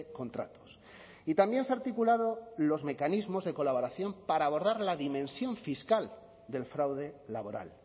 contratos y también se ha articulado los mecanismos de colaboración para abordar la dimensión fiscal del fraude laboral